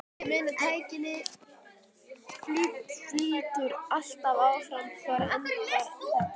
Ég meina tækninni flýtur alltaf áfram, hvar endar þetta?